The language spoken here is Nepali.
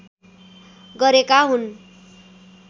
गरेका हुन्